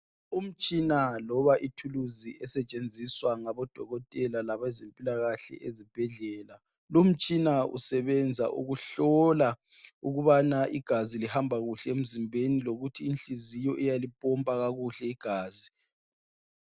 Umtshina loba ithulusi esetshenziswa ngabodokotela labezempilakahle ezibhedlela. Lumtshina usebenza ukuhlola ukubana igazi lihamba kuhle emzimbeni lokuthi inhliziyo iyalimpompa kakuhle igazi.